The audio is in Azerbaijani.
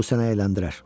Bu sənə əyləndirər.